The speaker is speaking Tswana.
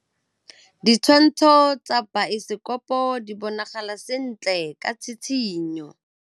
Ditshwantshô tsa biosekopo di bonagala sentle ka tshitshinyô.